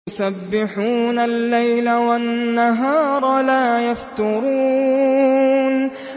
يُسَبِّحُونَ اللَّيْلَ وَالنَّهَارَ لَا يَفْتُرُونَ